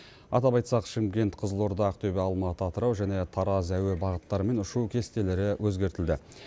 атап айтсақ шымкент қызылорда ақтөбе алматы атырау және тараз әуе бағыттарымен ұшу кестелері өзгертілді